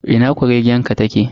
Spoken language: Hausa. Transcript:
Ina kuregen ta ke?